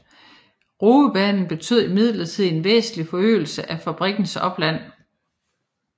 Roebanen betød imidlertid en væsentlig forøgelse af fabrikkens opland